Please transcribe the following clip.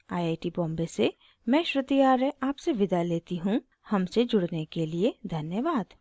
I I T Bombay से मैं श्रुति आर्य आपसे विदा लेती हूँ हमसे जुड़ने के लिए धन्यवाद